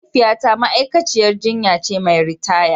Mahaifiyata ma'aikaciyar jinya ce mai ritaya.